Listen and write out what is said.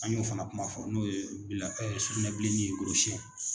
An y'o fana kuma fɔ n'o ye sugunɛbilennin ye korosiyɛn